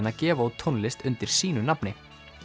að gefa út tónlist undir sínu nafni